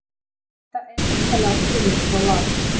Þetta er endanlega komið hjá Val